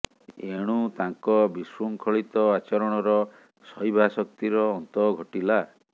ଏଣୁ ତାଙ୍କ ବିଶୃଙ୍ଖଳିତ ଆଚରଣର ସହିବା ଶକ୍ତିର ଅନ୍ତ ଘଟିଲା